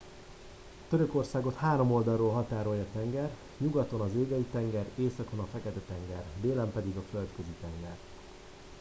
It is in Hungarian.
törökországot három oldalról határolja tenger nyugaton az égei tenger északon a fekete tenger délen pedig a földközi tenger